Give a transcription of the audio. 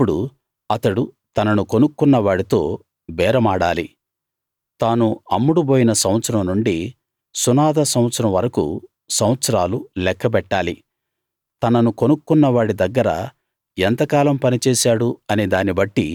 అప్పుడు అతడు తనను కొనుక్కున్న వాడితో బేరమాడాలి తాను అమ్ముడుబోయిన సంవత్సరం నుండి సునాద సంవత్సరం వరకూ సంవత్సరాలు లెక్క బెట్టాలి తనను కొనుక్కున్న వాడి దగ్గర ఎంతకాలం పనిచేశాడు అనే దాన్ని బట్టి